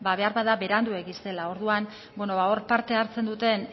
beharbada beranduegi zela orduan ba hor parte hartzen duten